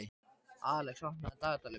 Alex, opnaðu dagatalið mitt.